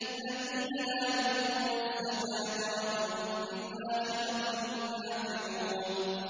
الَّذِينَ لَا يُؤْتُونَ الزَّكَاةَ وَهُم بِالْآخِرَةِ هُمْ كَافِرُونَ